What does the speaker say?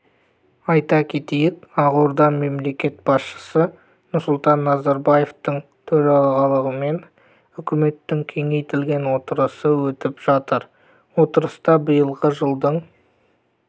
айта кетейік ақордада мемлекет басшысы нұрсұлтан назарбаевтың төрағалығымен үкіметтің кеңейтілген отырысы өтіп жатыр отырыста биылғы жылдың